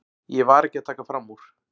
Ég var ekki að taka fram úr.